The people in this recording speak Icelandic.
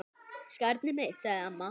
Skarnið mitt, sagði amma.